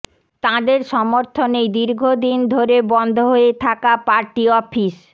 তাঁদের সমর্থনেই দীর্ঘ দিন ধরে বন্ধ হয়ে থাকা পার্টি অফিস